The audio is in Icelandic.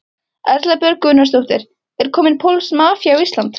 Erla Björg Gunnarsdóttir: Er komin pólsk mafía á Íslandi?